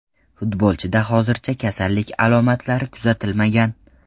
Futbolchida hozircha kasallik alomatlari kuzatilmagan.